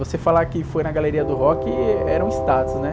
Você falar que foi na Galeria do Rock, era um status, né?